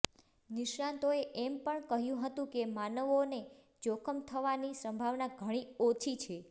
નિષ્ણાંતોએ એમ પણ કહ્યું હતું કે માનવોને જોખમ થવાની સંભાવના ઘણી ઓછી છે